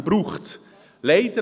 Diese braucht es.